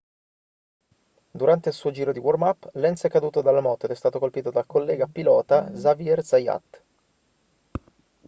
durante il suo giro di warm-up lenz è caduto dalla moto ed è stato colpito dal collega pilota xavier zayat